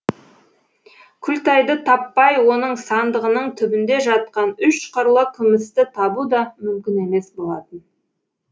күлтайды таппай оның сандығының түбінде жатқан үш қырлы күмісті табу да мүмкін емес болатын